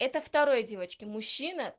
это второе девочки мужчина